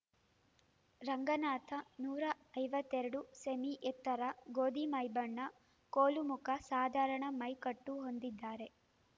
ರಂಗನಾಥ ನೂರ ಐವತ್ತೆರಡು ಸೆಮೀ ಎತ್ತರ ಗೋಧಿ ಮೈಬಣ್ಣ ಕೋಲು ಮುಖ ಸಾಧಾರಣ ಮೈ ಕಟ್ಟು ಹೊಂದಿದ್ದಾರೆ